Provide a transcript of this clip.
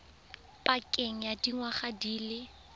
pakeng ya dingwaga di le